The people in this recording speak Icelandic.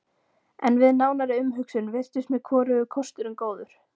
En við nánari umhugsun virtust mér hvorugur kosturinn góður.